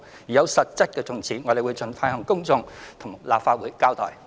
如有實質進展，我們會盡快向公眾並到立法會交代。